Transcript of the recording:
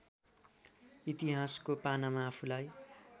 इतिहासको पानामा आफूलाई